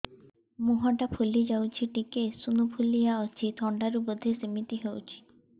ମୁହଁ ଟା ଫୁଲି ଯାଉଛି ଟିକେ ଏଓସିନୋଫିଲିଆ ଅଛି ଥଣ୍ଡା ରୁ ବଧେ ସିମିତି ହଉଚି